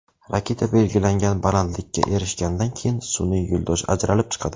Raketa belgilangan balandlikka erishgandan keyin sun’iy yo‘ldosh ajralib chiqadi.